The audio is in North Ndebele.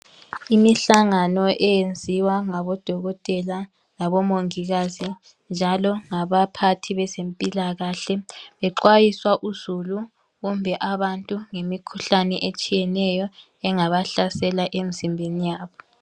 Imihlangano eyenziwa ngabodokotela labomongikazi njalo ngabaphathi bezempilakahle bexwayisa uzulu kumbe abantu ngemikhuhlane etshiyeneyo engabahlasela emzimbeni yabo.